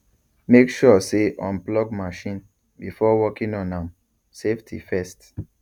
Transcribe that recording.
make sure say unplug machine before working on am safety first